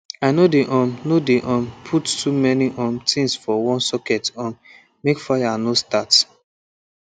i no dey um no dey um put too many um things for one socket um make fire no start